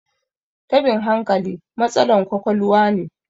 tabin hankali matsalan kwakwaluwa ne